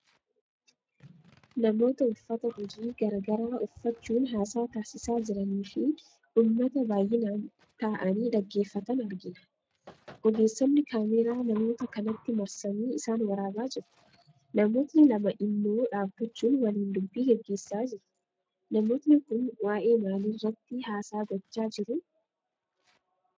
Namoota uffata hojii garaa garaa uffachuun haasaa taasisaa jiraniifi uummata baayyinaan taa'anii dhaggeeffatan arginaa. Ogeessonni kaameeraa namoota kanatti marsanii isaan waraabaa jiruu. Namootni lama immoo dhaabbachuun waliin dubbii geggeessaa jirtuu. Namootni kun waa'ee maaliirratti haasaa gochaa jiruu ?